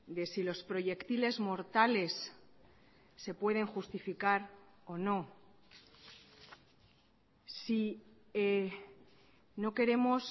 de si los proyectiles mortales se pueden justificar o no si no queremos